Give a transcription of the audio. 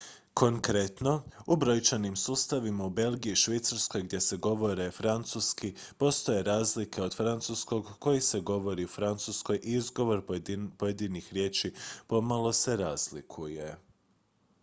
konkretno u brojčanim sustavima u belgiji i švicarskoj gdje se govori francuski postoje razlike od francuskog koji se govori francuskoj i izgovor pojedinih riječi pomalo se razlikuje